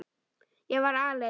Ég var alein.